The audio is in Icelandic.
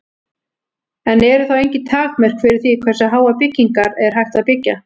En eru þá engin takmörk fyrir því hversu háar byggingar er hægt að byggja?